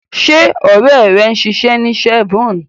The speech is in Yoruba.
Ṣé ọ̀rẹ́ ẹ ń ṣiṣẹ́ ní Chevron?